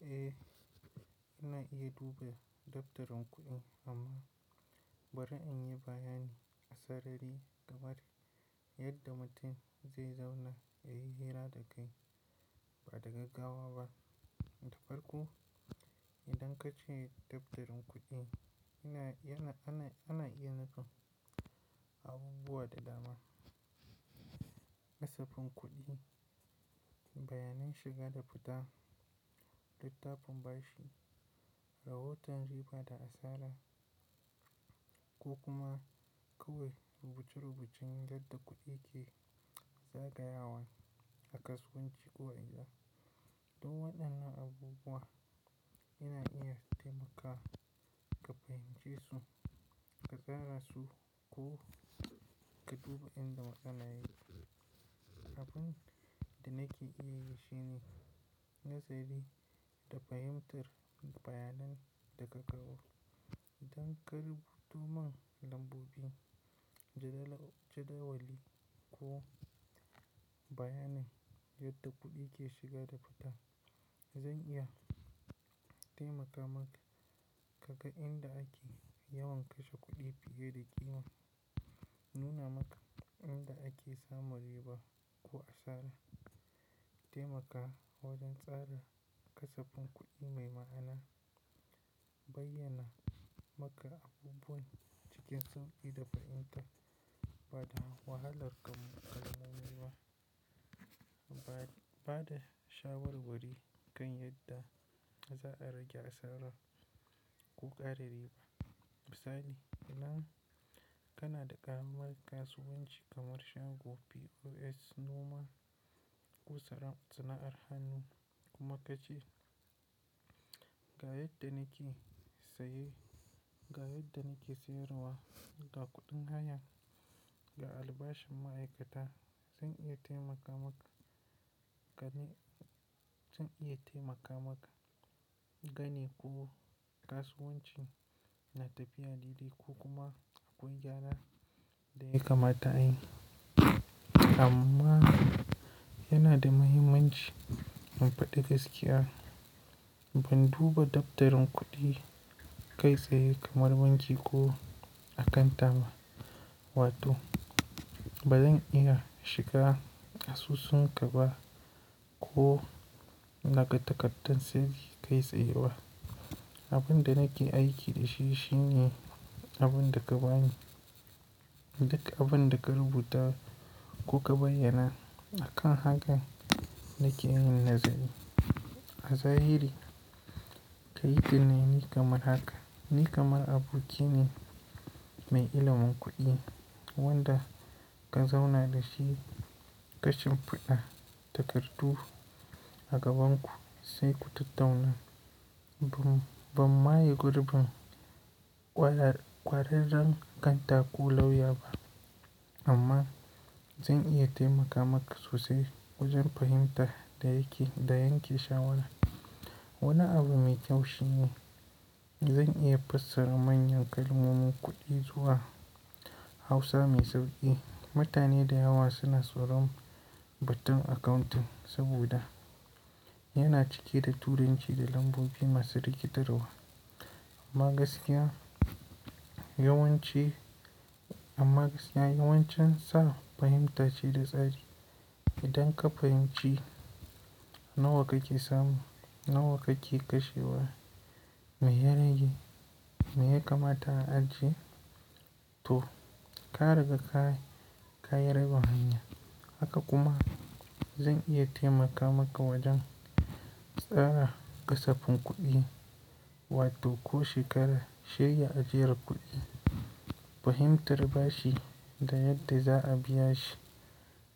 Eh, ina iya duba daftarin kuɗi amma bari in yi bayani a sarari game da yadda mutum zai zauna ya yi hira da kai ba daga gawa ba. Da farko idan kace daftarin kuɗi, ina, yana, ana, ana iya nufin abubuwa da dama. Kasafin kuɗi, bayanan shiga da fita, littafin bashi, rahoton riba da asara ko kuma kawai rubuce-rubucin yadda kuɗi ke zagayawan a kasuwanci ko a gida. Duk waɗannan abubuwa yana iya taimaka ka fahimce su, ka tsara su ko ka duba inda matsala yake. Abin da nake iya yi shine nazari da fahimtar bayanan da ka kawo. Idan ka rubuto man lambobi, jadawali ko bayanan yadda kuɗi ke shiga da fita, zan iya taimaka maka ka ga inda ake yawan kashe kuɗi fiye da ƙima, nuna maka inda ake samun riba ko asara, taimaka wajen tsara kasafin kuɗi mai ma'ana, bayyana maka abubuwan cikin sauƙi da fahimta ba da wahalar kamun kalmomi ba, ba da shawarwari kan yadda za a rage asara ko ƙara riba. Misali, idan kana da ƙamar kasuwanci commercial ko POS noma ko sana'ar hannu kuma kace ga yadda nake saye, ga yadda nake siyarwa, ga kuɗin hayan, ga albashin ma'aikata, zan iya taimaka maka gane ko kasuwancin yana tafiya daidai ko kuma akwai gyara da ya kamata a yi. Amma yana da mahimmanci in faɗi gaskiya. Ban duba daftarin kuɗi kai tsaye kamar wanci ko a kantama, wato ba zan iya shiga asusunka ba ko na ga takardar sayar da kai tsaye ba. Abin da nake aiki da shi shine abin da ka ba ni. Duka abin da ka rubuta ko ka bayyana, a kan haka nake yin nazari. A zahiri, kayi tunani kamar haka, ni kamar aboki ne mai ilimin kuɗi wanda ka zauna da shi ƙashin fiɗa takardu a gaban ku sai ku tattauna bam, bamma yi ƙurɓun ƙwararren kantaku lauya ba. Amma zan iya taimaka maka sosai wajen fahimtar da yake, da yanke shawara. Wani abu mai kyau shine zan iya fassara manyan kalmomin kuɗi zuwa Hausa mai sauƙi. Mutane da yawa suna tsoron batun accounting saboda yana cike da Turanci da lambobi masu rikitarwa amma gaskiya, yawance, amma gaskiya yawancin sa fahimta ce da tsari. Idan ka fahimci nawa kake samu, nawa kake kashewa, me ya rage, me ya kamata a ajiye, to ka riga ka, ka yi ragan hanya. Haka kuma zan iya taimaka maka wajen tsara kasafin kuɗi wato ko shekara, shirya ajiyar kuɗi, fahimtar bashi da yadda za a biya shi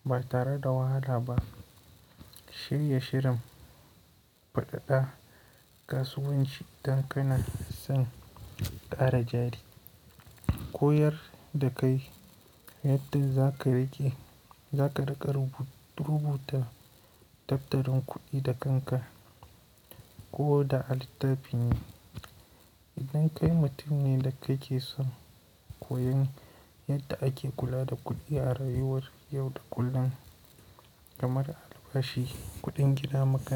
ba tare da wahala ba, shirya shirin faɗaɗa kasuwanci idan kana son ƙara jari, koyar da kai yadda za ka rage, za ka rage rubuta daftarin kuɗi da kanka ko da a littafi ne. Idan kai mutum ne da kake son koyon yadda ake kula da kuɗi a rayuwar yau da kullun kamar albashi, kuɗin gida, maka-